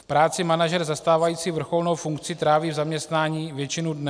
V práci manažer zastávající vrcholnou funkci tráví v zaměstnání většinu dne.